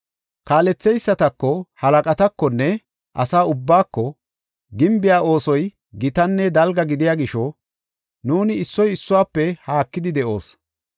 Kaaletheysatako, halaqatakonne asa ubbaako, “Gimbiya oosoy gitanne dalga gidiya gisho nuuni issoy issuwafe haakidi de7oos.